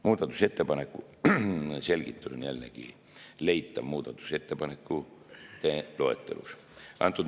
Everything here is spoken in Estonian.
Muudatusettepaneku selgitus on jällegi leitav muudatusettepanekute loetelust.